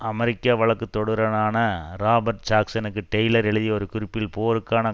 அமெரிக்க வழக்குதொடுனரான ரொபர்ட் ஜாக்சனுக்கு டெய்லர் எழுதிய ஒரு குறிப்பில் போருக்கான